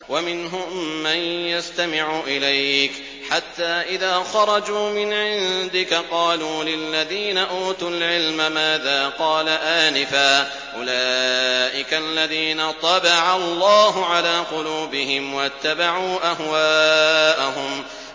وَمِنْهُم مَّن يَسْتَمِعُ إِلَيْكَ حَتَّىٰ إِذَا خَرَجُوا مِنْ عِندِكَ قَالُوا لِلَّذِينَ أُوتُوا الْعِلْمَ مَاذَا قَالَ آنِفًا ۚ أُولَٰئِكَ الَّذِينَ طَبَعَ اللَّهُ عَلَىٰ قُلُوبِهِمْ وَاتَّبَعُوا أَهْوَاءَهُمْ